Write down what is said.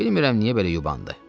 Bilmirəm niyə belə yubandı.